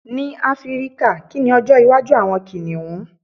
ní áfíríkà, ki ni ọjọ iwaju awọn kìnìún